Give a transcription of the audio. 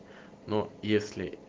но если